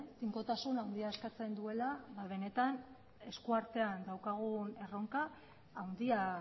tinkotasun handia eskatzen duela benetan esku artean daukagun erronka handia